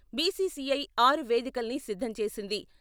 BCCI ఆరు వేదికల్ని సిద్ధం చేసింది.